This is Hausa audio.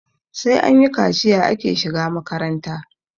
sai anyi kaciya ake shiga makaranta